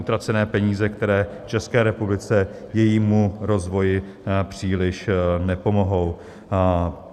Utracené peníze, které České republice, jejímu rozvoji příliš nepomohou.